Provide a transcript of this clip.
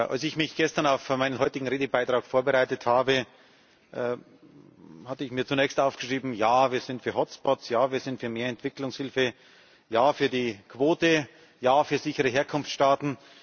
Als ich mich gestern auf meinen heutigen Redebeitrag vorbereitet habe, hatte ich mir zunächst aufgeschrieben Ja, wir sind für Hotspots, Ja, wir sind für mehr Entwicklungshilfe, Ja für die Quote, Ja für sichere Herkunftsstaaten.